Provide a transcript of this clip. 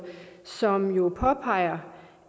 som jo påpeger